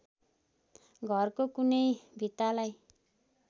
घरको कुनै भित्तालाई